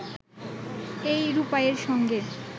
এই রূপাইয়ের সঙ্গে